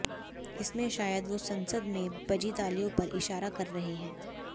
इसमें शायद वो संसद में बजी तालियों पर इशारा कर रहे हैं